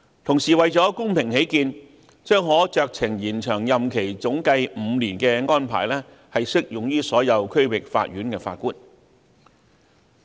同時，為了公平起見，總計可酌情延長任期5年的安排將適用於所有區域法院的法官。